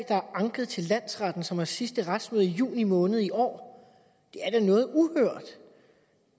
er anket til landsretten som har sidste retsmøde i juni måned i år det er da noget uhørt